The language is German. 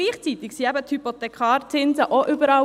Gleichzeitig sanken die Hypothekarzinsen auch überall.